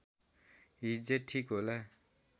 हिज्जे ठीक होला